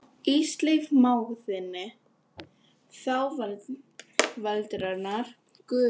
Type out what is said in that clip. Ísleif mág þinn, þá veraldarinnar gufu.